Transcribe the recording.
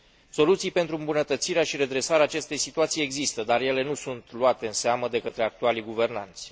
Soluții pentru îmbunătățirea și redresarea acestei situații există, dar ele nu sunt luate în seamă de către actualii guvernanți.